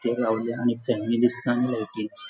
थंय रावल्या आणि फॅन बी दिसता आणि लाइटिंग्स --